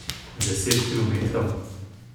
Deset kilometrov?